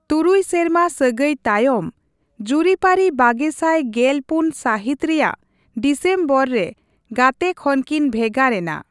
ᱛᱩᱨᱩᱭ ᱥᱮᱨᱢᱟ ᱥᱟᱹᱜᱟᱹᱭ ᱛᱟᱭᱚᱢ, ᱡᱩᱨᱤᱯᱟᱹᱨᱤ ᱵᱟᱜᱮᱥᱟᱭ ᱜᱮᱞ ᱯᱩᱱ ᱥᱟᱹᱦᱤᱛ ᱨᱮᱭᱟᱜ ᱰᱤᱥᱮᱢᱵᱚᱨ ᱨᱮ ᱜᱟᱛᱮ ᱠᱷᱚᱱ ᱠᱤᱱ ᱵᱷᱜᱟᱨ ᱮᱱᱟ ᱾